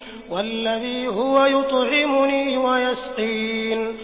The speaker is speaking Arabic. وَالَّذِي هُوَ يُطْعِمُنِي وَيَسْقِينِ